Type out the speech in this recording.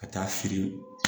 Ka taa firi